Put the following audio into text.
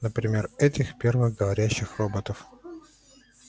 например этих первых говорящих роботов